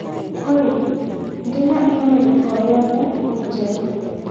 Olly ndĩ na i-mīrū o yothe njerũ